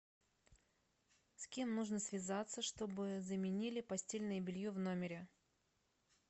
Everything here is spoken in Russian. с кем нужно связаться чтобы заменили постельное белье в номере